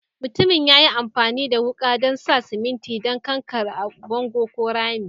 Mutumin ya yi amfani da wuka dan sa siminti da kankare a'bongo ko rami.